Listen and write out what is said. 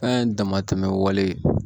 An ye dama tɛmɛ wale